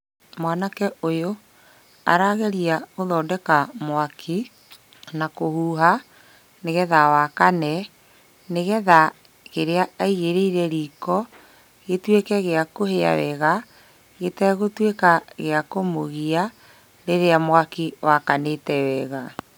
Mwanake ũyũ arageria gũthondeka mwaki na kũhuha nĩgetha wakane, nĩgetha kĩrĩa aigĩrĩire riko gĩtuĩke gĩa kũhia wega, gĩtegũtuĩka gĩa kũmũgia rĩrĩa mwaki wakanĩte wega.